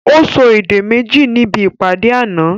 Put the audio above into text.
Ó sọ èdè méjì níbi ìpàdé àná